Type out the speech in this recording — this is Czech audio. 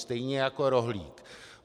Stejně jako rohlík.